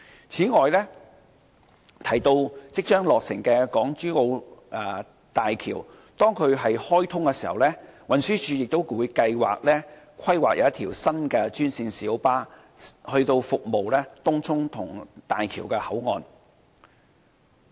此外，提到即將落成的港珠澳大橋，當港珠澳大橋開通時，運輸署亦計劃規劃一條新專線小巴路線，以服務東涌和大橋口岸。